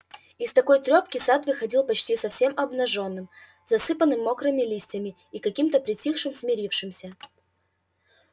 из такой трёпки сад выходил почти совсем обнажённым засыпанным мокрыми листьями и каким-то притихшим смирившимся